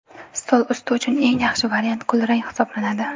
Stol usti uchun eng yaxshi variant kulrang hisoblanadi.